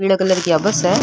पीला कलर की आ बस है।